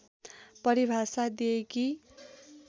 परिभाषा दिए कि